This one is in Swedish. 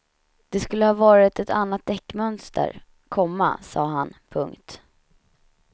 Det skulle ha varit ett annat däcksmönster, komma sa han. punkt